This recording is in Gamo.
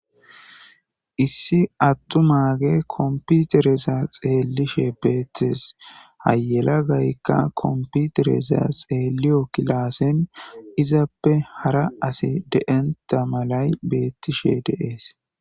Isi atumage kompitereza xelishe betes ha yelagayka kompitereza xeliyoge kilasen izappe hara asi de'onta malay betishe dees.